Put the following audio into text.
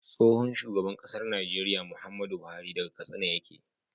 Tsohon shugaban ƙasar Nigeria Muhammadu buhari saga katsina yake